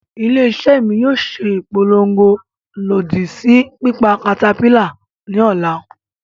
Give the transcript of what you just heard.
Ile-iṣẹ mi yoo ṣe ipolongo lodi si pipa caterpillar ni ọla.